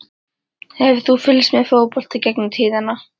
Hefur þú fylgst mikið með fótbolta í gegnum tíðina?